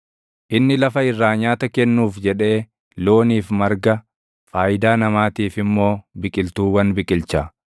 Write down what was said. Inni lafa irraa nyaata kennuuf jedhee looniif marga, faayidaa namaatiif immoo biqiltuuwwan biqilcha;